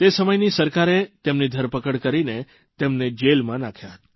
તે સમયની સરકારે તેમની ધરપકડ કરીને તેમને જેલમાં નાંખ્યા હતા